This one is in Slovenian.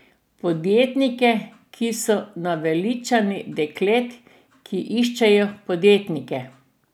Podjetnike, ki so naveličani deklet, ki iščejo podjetnike.